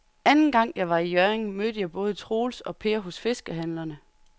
Anden gang jeg var i Hjørring, mødte jeg både Troels og Per hos fiskehandlerne.